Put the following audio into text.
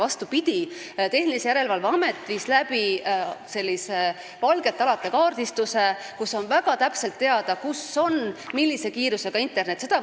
Vastupidi, Tehnilise Järelevalve Amet tegi valgete alade kaardistuse ning on väga täpselt teada, kus on millise kiirusega internetiühendus.